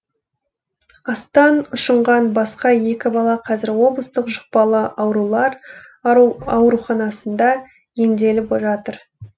астан ұшынған басқа екі бала қазір облыстық жұқпалы аурулар ауруханасында емделіп жатыр